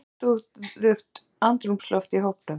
Það var heiftúðugt andrúmsloft í hópnum.